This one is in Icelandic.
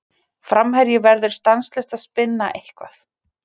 Framherji verður stanslaust að spinna eitthvað.